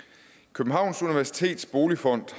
københavns universitets boligfond